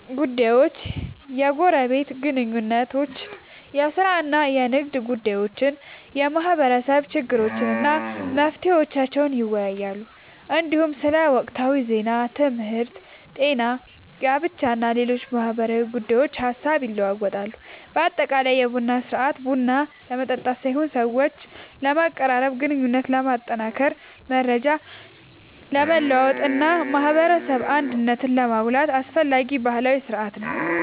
ጉዳዮችን፣ የጎረቤት ግንኙነቶችን፣ የሥራ እና የንግድ ጉዳዮችን፣ የማህበረሰብ ችግሮችን እና መፍትሄዎቻቸውን ይወያያሉ። እንዲሁም ስለ ወቅታዊ ዜናዎች፣ ትምህርት፣ ጤና፣ ጋብቻ እና ሌሎች ማህበራዊ ጉዳዮች ሐሳብ ይለዋወጣሉ። በአጠቃላይ የቡና ሥርዓት ቡና ለመጠጣት ሳይሆን ሰዎችን ለማቀራረብ፣ ግንኙነትን ለማጠናከር፣ መረጃ ለመለዋወጥ እና የማህበረሰብ አንድነትን ለማጎልበት አስፈላጊ ባህላዊ ሥርዓት ነው።